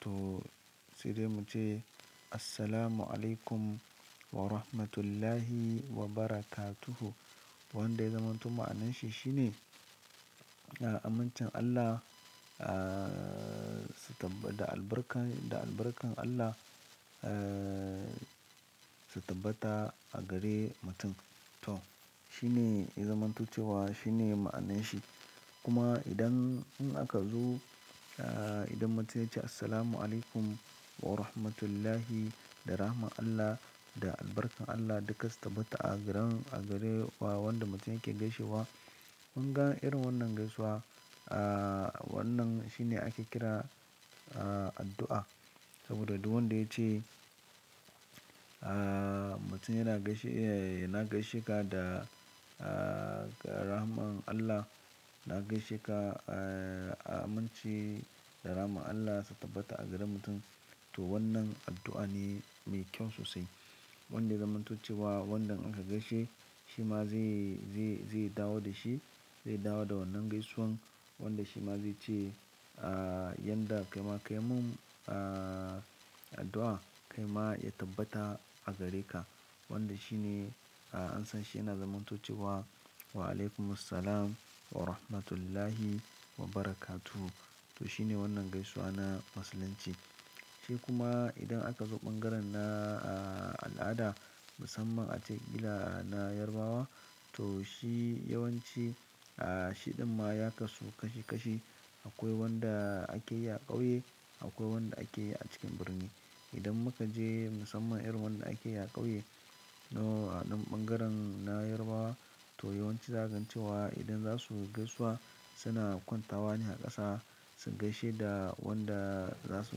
to sai dai mu ce "Assalamualaikum Warahmatullahi Wabarakatuhu". Wanda ya zamantowu ma'ananshi shine, a, amincin Allah, a, su taba, da albarkan, da albarkan Allah, e, su tabbata a gare mutum. To shi ne ya zamantocewa shi ne ma'ananshi. Kuma idan in aka zo, a, idan mutum ya ce "Assalamualaikum Warahmatullahi", da rahman Allah, da albarkan Allah duka su tabbata a garan, a gare wa wanda mutum yake gaishewa. Kunga irin wannan gaisuwa, a, wannan shi ne ake kira, a, addu'a. Saboda duk wanda ya ce, a, mutum yana gaishe, yana gaishe ka da, a, rahman Allah. Na gaishe ka, a, aminci da rahman Allah su tabbata a gare mutum. To wannan addu'a ne mai kyau sosai. Wanda ya zamantocewa wanda an ka gaishe shi ma zai, zai, zai dawo da shi, zai dawo da wannan gaisuwan. Wanda shi ma zai ce, a, yanda kaima, kai mun, a, addu'a kai ma ya tabbata a gare ka. Wanda shi ne, a, an san shi yana zamantocewa "Waalaikumussalam Warahmatullahi Wabarakatuhu". To shi ne wannan gaisuwa na musulunci. Sai kuma idan aka zo ɓangaren na, a, al'ada musamman ace kila na yarbawa to shi yawanci, a, shi ɗan ma ya kasu kashi kashi. Akwai wanda ake yi a ƙauye, akwai wanda ake yi a cikin birni. Idan muka je musamman irin wanda ake yi a ƙauye, to a ɗan ɓangaren na Yarbawa to yawanci zagan cewa idan za su gaisuwa suna kwanta wa ne a ƙasa. Sun gaishe da wanda za su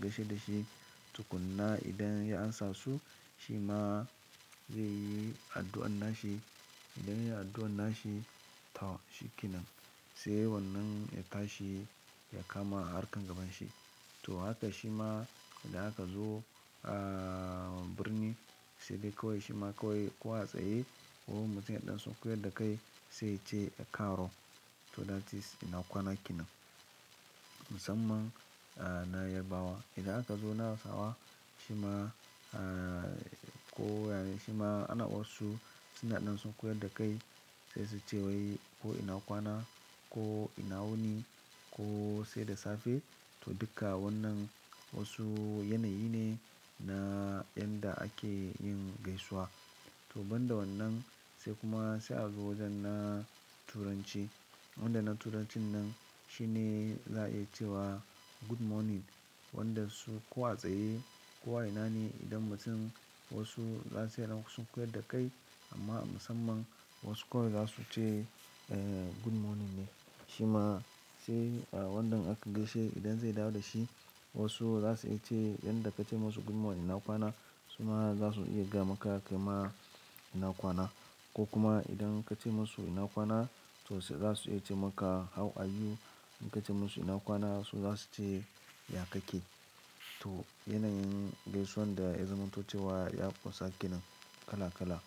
gaishe da shi. Tukuna idan ya amsa su shi ma zai yi addu'an nashi. Idan ya yi addu'an nashi, to shi kenan sai wannan ya tashi ya kama harkan gaban shi. To haka shi ma idan aka zo, a, birni sai dai kawai shi ma kawai ko a tsaye ko mutum ya ɗan sunkoyar da kai sai ce "E karo". To that is ina kwana kinan. Musamman, a, na Yarbawa. Idan aka zo na Hausawa shi ma, a, ko, yana, shi ma ana wasu suna ɗan saukoye da kai sai su ce wai ko ina kwana, ko ina wuni, ko sai da safe. To duka wannan wasu yanayi ne na yanda ake yin gaisuwa. To banda wannan sai kuma sai a zo wajen na turanci. Wanda na turancin nan shi ne za a iya ce wa "Good morning". Wanda su kuwa a tsaye ko a ina ne idan mutum wasu za su yi dan sunkoye da kai amma musamman wasu kawai za su ce, eh, good morning ne. Shi ma sai, a, wanda aka gaishe idan zai dawo da shi wasu za su iya ce yanda ka ce musu good morning ina kwana su ma za su iya gaya maka kai ma ina kwana. Ko kuma idan ka ce musu ina kwana to sai za su iya ce maka "How are you?" In ka ce musu ina kwana su za su ce "Ya kake?" To yanayin gaisuwan da ya zamantocewa ya ƙunsa kenan kala-kala.